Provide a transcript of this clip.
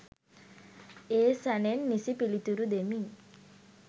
ඒ සැනෙන් නිසි පිළිතුරු දෙමි.